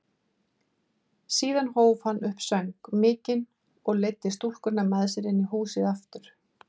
Síðan hóf hann upp söng mikinn og leiddi stúlkuna með sér inn í húsið aftur.